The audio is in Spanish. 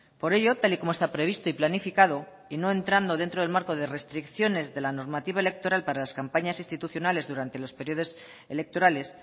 por ello tal y como está previsto y planificado y no entrando dentro del marco de restricciones de la normativa electoral para las campañas institucionales durante los periodos electorales